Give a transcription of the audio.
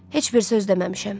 Heç bir söz deməmişəm.